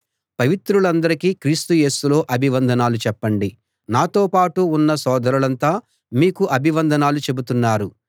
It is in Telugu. పవిత్రులందరికీ క్రీస్తు యేసులో అభివందనాలు చెప్పండి నాతో పాటు ఉన్న సోదరులంతా మీకు అభివందనాలు చెబుతున్నారు